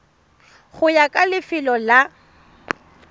go ya ka lefelo la